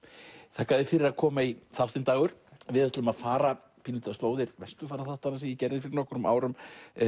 þakka þér fyrir að koma í þáttinn Dagur við ætlum að fara pínulítið á slóðir Vesturfaraþáttanna sem ég gerði fyrir nokkrum árum